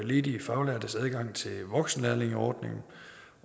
ledige faglærtes adgang til voksenlærlingeordningen